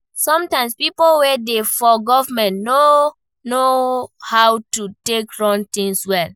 Sometimes pipo wey dey for government no know how to take run things well